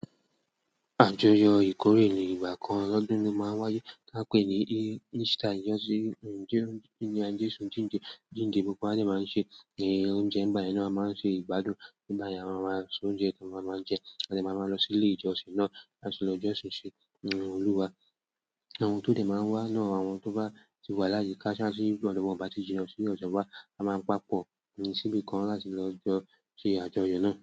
Àjọyọ̀ ìkórè ní ìgbà kan lọ́dún lo máa ń wáyé tí a pè ní e esther ijo ti jesu jínde jínde gbogbo wa de máa ń ṣe ẹ oúnjẹ ń ba yen na a máa ń ṣe ìgbádùn nígbà yẹn a máa se oúnjẹ tí a máa ń jẹ adẹ̀ máa ń lọ sí ilé ìjọsìn náà láti lọ jọ́sìn ṣi Olúwa. Àwọn tó dẹ̀ máa ń wá náà àwọn tó bá ti wà láyi ká sì ọ́dọ̀ wa o bati jìnnà sí ọ̀do wà a máa ń papọ̀ ní si bi kan láti lọ jọ ṣe àjọyọ̀ náà.